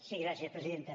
sí gràcies presidenta